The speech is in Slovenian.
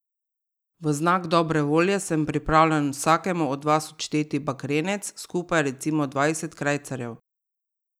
V znak dobre volje sem pripravljen vsakemu od vas odšteti bakrenec, skupaj recimo dvajset krajcarjev.